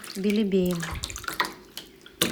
белебеем